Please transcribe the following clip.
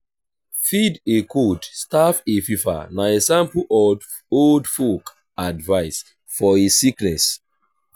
feed a cold starve a fever na example of old folk advice for a sickness